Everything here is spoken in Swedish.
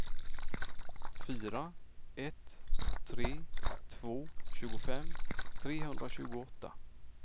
fyra ett tre två tjugofem trehundratjugoåtta